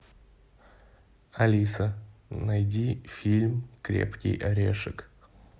алиса найди фильм крепкий орешек